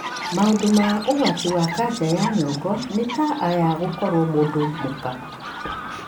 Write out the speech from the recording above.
Maũndu ma ũgwati ma kanca ya nyongo nĩ ta aya:gũkoruo mũndũ mũka.